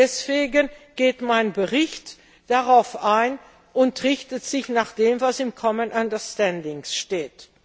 Deswegen geht mein Bericht darauf ein und richtet sich nach dem, was im common understanding steht.